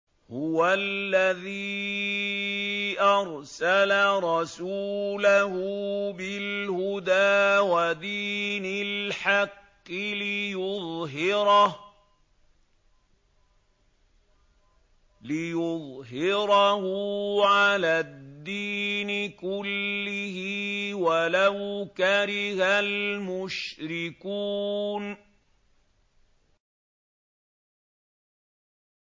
هُوَ الَّذِي أَرْسَلَ رَسُولَهُ بِالْهُدَىٰ وَدِينِ الْحَقِّ لِيُظْهِرَهُ عَلَى الدِّينِ كُلِّهِ وَلَوْ كَرِهَ الْمُشْرِكُونَ